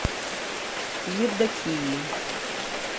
евдокии